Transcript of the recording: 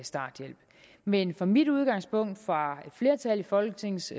starthjælp men fra mit udgangspunkt fra flertal i folketingets